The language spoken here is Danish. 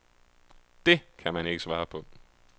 Det kan man ikke svare på.